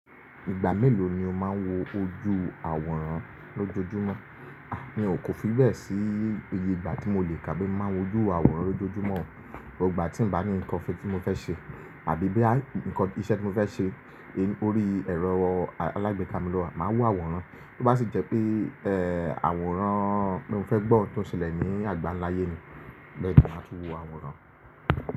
Ìgbà mélòó ni o máa ń wo ojú àwòrán lójoojúmọ́? Mi ò kò fi bẹ́ẹ̀ sí i, eye ìgbà tí mo lè kà kín má wojú àwòrán lójoojúmọ́. Gbogbo gbà tí n bá ní nǹkan fi tí mo fẹ́ ṣe àbí bóyá nǹkan iṣẹ́ tí mo fẹ́ ṣe, orí ẹ̀rọ alágbèéká mi lọ máa wàwòrán. Bó bá sì jẹ́ pé, ẹ́ àwòrán pé mo fẹ́ gbọ́ hun tó ń ṣẹlẹ̀ ní àgbánláyé ni, bẹ́ẹ̀ ni màá tún wo àwòrán.